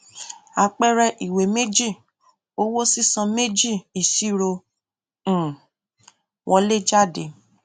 àpẹẹrẹ ìwé méjì owó sísan méjì ìṣirò um wọléjáde